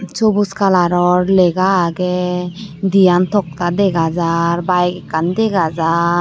Chubush coloror lega agey diyan tokta dega jaar bike ekkan dega jaar.